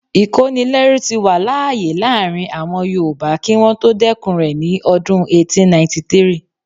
Ìkónilẹ́rú tí wà láàyè láàrin àwọn yoòbá kí wọ́n tó dẹ́kun rẹ̀ ní ọdún 1893